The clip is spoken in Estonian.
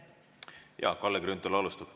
Kalle Grünthal alustab.